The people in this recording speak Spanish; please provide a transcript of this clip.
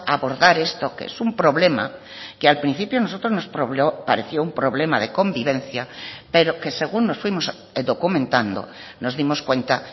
abordar esto que es un problema que al principio nosotros nos pareció un problema de convivencia pero que según nos fuimos documentando nos dimos cuenta